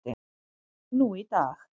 nú í dag.